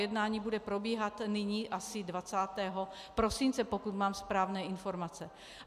Jednání bude probíhat nyní asi 20. prosince, pokud mám správné informace.